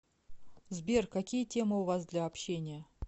сбер какие темы у вас для общения